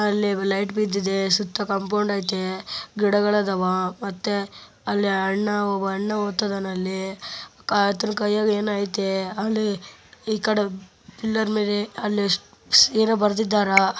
ಅಲ್ಲಿ ಲೈಟ್ ಬಿದ್ದಿದೆ ಸುತ್ತ ಕಾಂಪೌಂಡ್ ಐತೆ ಗಿಡಗಳ್ ಅದವ್ ಅಲ್ಲಿ ಅಣ್ಣ ಅಣ್ಣ ಓತಿದನೆ ಆತನ ಕೈಯಾಗ್ ಏನೋ ಐತೆ ಅಲ್ಲಿ ಈ ಕಡೆ ಪಿಲ್ಲರ್ ಮೇಲೆ ಅಲ್ಲಿ ಎಷ್ಟ ಏನೋ ಬರದ್ದಿದರ್.